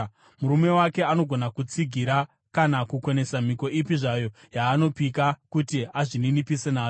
Murume wake anogona kutsigira kana kukonesa mhiko ipi zvayo yaanopika kuti azvininipise nayo.